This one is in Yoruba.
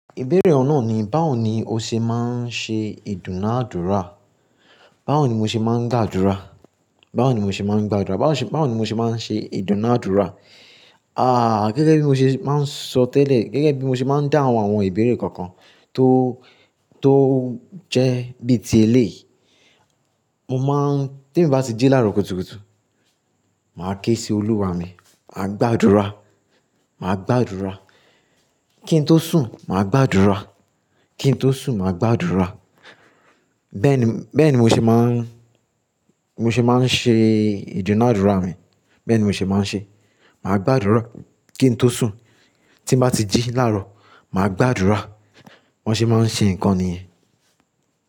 Ìbéèrè oun naa ni báwo ni o ṣe máa ń ṣe ìdúnàádúrà? Báwo ni mo ṣe máa ń gbàdúrà? Báwo ni mo ṣe máa ń gbàdúrà? Báwo ṣe, báwo ni mo ṣe máa ń ṣe ìdúnàádúrà? Àà, gẹ́gẹ́ bí mo ṣe máa ń sọ tẹ́lẹ̀, gẹ́gẹ́ bí mo ṣe máa ń dáhùn àwọn ìbéèrè kookan tó, tó jẹ́ bíi ti eléyìí. Mo máa ń, t'emi bá ti jí láàárọ̀ kùtùkùtù, màá ké sí Olúwa mi, màá gbàdúrà, màá gbàdúrà. Kí n tó sùn, màá gbàdúrà. Kí n tó sùn, màá gbàdúrà. Bẹ́ẹ̀ ni, bẹ́ẹ̀ ni mo ṣe máa ń, mo ṣe máa ń ṣe ìdúnàádúrà mi. Bẹ́ẹ̀ ni mo ṣe máa ń ṣe. Màá gbàdúrà kí n tó sùn. Tí mo bá ti jí láàárọ̀, màá gbàdúrà. Bi wọn ṣe máa ń ṣe nǹkan nìyẹn.